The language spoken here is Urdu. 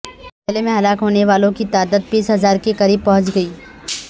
زلزلہ میں ہلاک ہونےوالوں کی تعداد بیس ہزار کے قریب پہنچ گئی